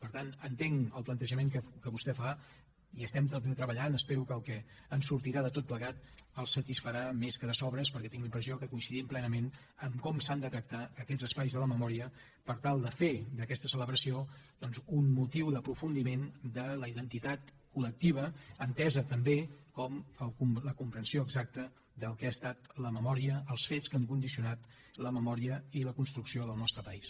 per tant entenc el plantejament que vostè fa hi estem treballant i espero que el que en sortirà de tot plegat el satisfarà més que de sobres perquè tinc la impressió que coincidim plenament en com s’han de tractar aquests espais de la memòria per tal de fer d’aquesta celebració doncs un motiu d’aprofundiment de la identitat col·comprensió exacta del que ha estat la memòria els fets que han condicionat la memòria i la construcció del nostre país